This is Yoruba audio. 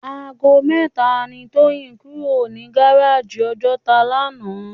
Àgó mètá ni Toyin kúró ni gáráji Òjòtá làná